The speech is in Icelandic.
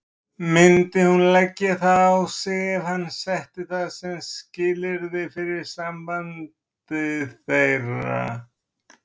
Myndi hún leggja það á sig ef hann setti það sem skilyrði fyrir sambandi þeirra?